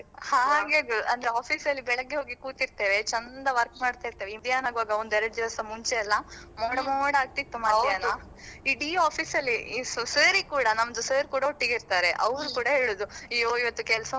ಹಾಗೆವೆ ಅಂದ್ರೆ office ಅಲ್ಲಿ ಬೆಳಿಗ್ಗೆ ಹೋಗಿ ಕೂತಿರ್ತೇವೆ, ಚಂದ work ಮಾಡ್ತಿರ್ತೇವೆ. ಮಧ್ಯಾಹ್ನ ಆಗುವಾಗ ಒಂದು ಎರಡು ದಿವಸ ಮುಂಚೆ ಎಲ್ಲ ಮೋಡ ಮೋಡ ಆಗ್ತಿತ್ತು ಮಧ್ಯಾಹ್ನ. ಇಡೀ office ಅಲ್ಲಿ ಈ sir ರಿಗೆ ಕೂಡಾ ನಮ್ದು sir ಕೂಡಾ ಒಟ್ಟಿಗೆ ಇರ್ತಾರೆ. ಅವರು ಕೂಡ ಹೇಳುದು ಅಯ್ಯೋ ಇವತ್ತು ಕೆಲ್ಸ ಮಾಡ್ಲಿಕ್ಕೆ bore.